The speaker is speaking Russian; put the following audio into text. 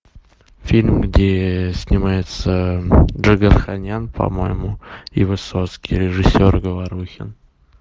фильм где снимается джигарханян по моему и высоцкий режиссер говорухин